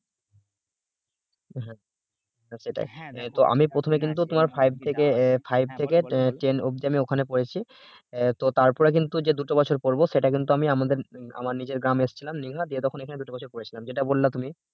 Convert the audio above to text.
তো আমি প্রথমে কিন্তু তোমার five থেকে five থেকে ten অব্দি ওখানে পড়েছি তো তারপরে কিন্তু যে দুটো বছর আমি পড়বো সেটা কিন্তু আমি আমার নিজের গ্রাম এসেছিলাম যে তখন দুটো বছর পড়েছিলাম যেটা বললা তুমি